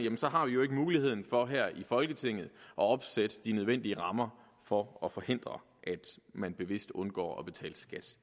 har vi jo ikke muligheden for her i folketinget at opsætte de nødvendige rammer for at forhindre at man bevidst undgår at betale skat